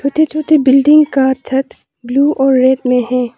छोटे छोटे बिल्डिंग का छत ब्लू और रेड में है।